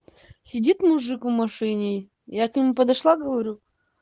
сидит мужик в машине я к нему подошла говорю